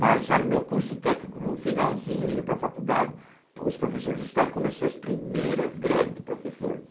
Mas já no meu curso técnico, no finalzinho, indo para faculdade, os professores de estado começaram as primeiras greves de professores.